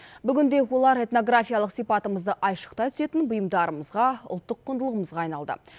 бүгінде олар этнографиялық сипатымызды айшықтай түсетін бұйымдарымызға ұлттық құндылығымызға айналды